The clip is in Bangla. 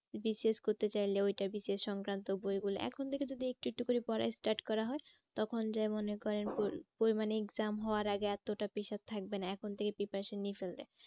করতে চাইলে সংক্রান্ত বই গুলো এখন থেকে যদি একটু একটু করে পড়া start করা হয়। তখন যেমন এ করেন ওই মানে exam হওয়ার আগে এতটা থাকবে না এখন থেকে preparation নিয়ে ফেললে।